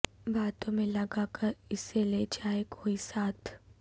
باتوں میں لگا کر اسے لے جائے کوئی ساتھ